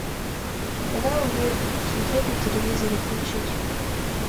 канал мир смотреть на телевизоре включить